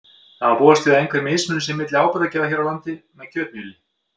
Því má búast við að einhver mismunur sé milli áburðargjafar hér á landi með kjötmjöli.